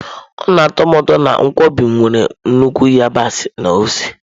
Ọ na atọ m ụtọ na nkwobi m nwere nnukwu yabasị na ose.